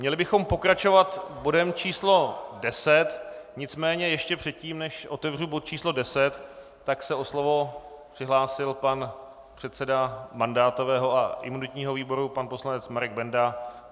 Měli bychom pokračovat bodem číslo 10, nicméně ještě předtím, než otevřu bod číslo 10, tak se o slovo přihlásil pan předseda mandátového a imunitního výboru pan poslanec Marek Benda.